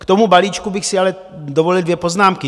K tomu balíčku bych si ale dovolil dvě poznámky.